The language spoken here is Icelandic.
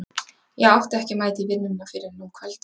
Ég átti ekki að mæta í vinnuna fyrr en um kvöldið.